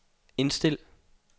indstil